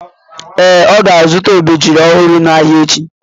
Ee, ọ ga-azụta obejiri ọhụrụ n'ahịa echi.